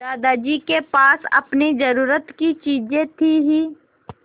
दादाजी के पास अपनी ज़रूरत की चीजें थी हीं